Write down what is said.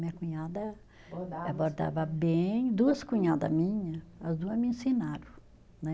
Minha cunhada bordava bem, duas cunhada minha, as duas me ensinaram, né